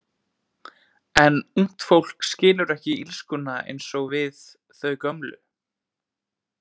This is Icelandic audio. En ungt fólk skilur ekki illskuna eins og við þau gömlu.